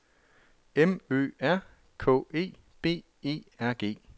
M Ø R K E B E R G